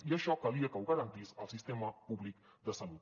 i això calia que ho garantís el sistema públic de salut